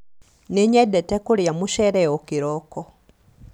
nĩnyendete kũrĩa mucere o kĩroko